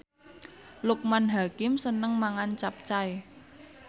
Loekman Hakim seneng mangan capcay